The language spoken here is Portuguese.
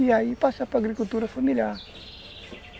E aí passar para agricultura familiar.